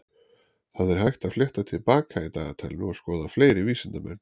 Það er hægt að fletta til baka í dagatalinu og skoða fleiri vísindamenn.